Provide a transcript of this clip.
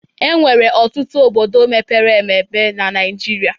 Enwere ọtụtụ obodo mepere emebe na Naijiria